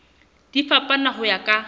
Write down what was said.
di fapana ho ya ka